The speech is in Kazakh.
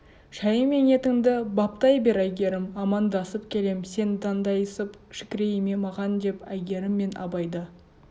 шайың мен етіңді баптай бер әйгерім амандасып келем сен дандайсып шікірейме маған деп әйгерім мен абайды